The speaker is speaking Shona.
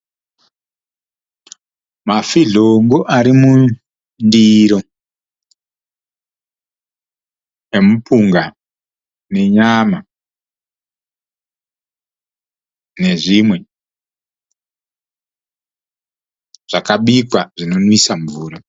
Mafizhongo ari mundiro emupinga nenyama nezvimwe zvakabikwa zvinonwisa mvura.